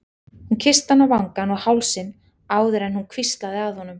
Hún kyssti hann á vangann og hálsinn áður en hún hvíslaði að honum